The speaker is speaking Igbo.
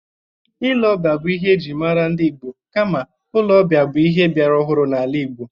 Ile-ọbịa bụ ihe e jiri mara ndị Igbo, kama ụlọ ọbịa bụ ihe biara ọhụrụ n'ala Igbo.